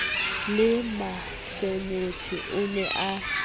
le mafenethe o ne a